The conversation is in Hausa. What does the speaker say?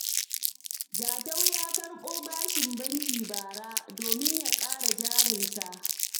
Jatau ya karɓo bashin banki bara, domin ya ƙara jarinsa.